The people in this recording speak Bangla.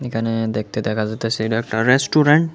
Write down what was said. এখানে দেখতে দেখা যাইতেসে এটা একটা রেস্টুরেন্ট ।